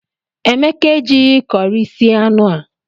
Emeka ejighi curị sie anụ a.